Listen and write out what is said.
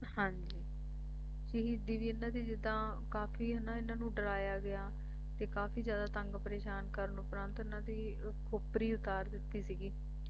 ਹਾਂ ਜੀ ਹੀ ਦੀਦੀ ਇਨ੍ਹਾਂ ਦੀ ਜਿੱਦਾਂ ਕਾਫੀ ਹੈ ਨਾ ਇਨ੍ਹਾਂ ਨੂੰ ਡਰਾਇਆ ਗਿਆ ਤੇ ਕਾਫੀ ਜਿਆਦਾ ਤੰਗ ਪ੍ਰੇਸ਼ਾਨ ਕਰਨ ਤੋਂ ਉਪਰਾਂ ਇਨ੍ਹਾਂ ਦੀ ਖੋਪਰੀ ਉਤਾਰ ਦਿੱਤੀ ਸੀਗੀ